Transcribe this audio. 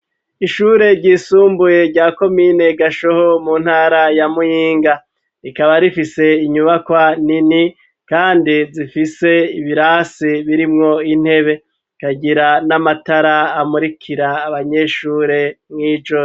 Ishure ryisumbuye rya komine gashoho mu ntara ya muhinga rikaba rifise inyubakwa nini kandi zifise ibirasi birimwo intebe ikagira n'amatara amurikira abanyeshure mw'ijoro.